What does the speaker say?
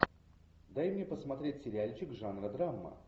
дай мне посмотреть сериальчик жанра драма